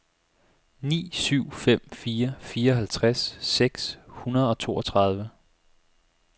ni syv fem fire fireoghalvtreds seks hundrede og toogtredive